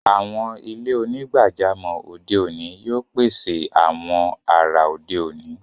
Awọn ilẹ̀-onígbàjàmọ́ ode oni yóò pèsè awọn àrà ode oni.